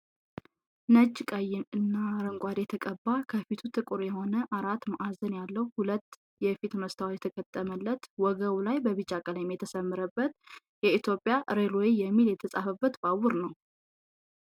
ነጭ፣ ቀይ እና አረንጓዴ የተቀባ ከፊቱ ጥቁር የሆነ አራት ማዕዘን ያለዉ ሁለት የፊት መስታወት የተገጠመለት ወገቡ ላይ በቢጫ ቀለም የተሰመረበት " ኢትዮጵያ ሬልወይ" የሚል የተፃበት ባቡር ነዉ።